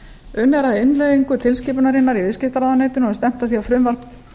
unnið er að innleiðingu tilskipunarinnar í viðskiptaráðuneytinu og er stefnt að því að frumvarp